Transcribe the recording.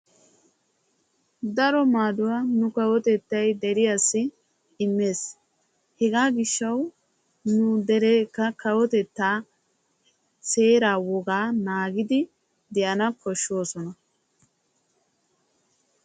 Daro maadduwaa nu kawotettay deriyaassi immees. hegaa gishshawu nu dereekka kawitettaa seeraa wogaa naagidi de"ana koshshoosona.